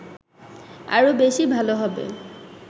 আরো বেশি ভালো হবে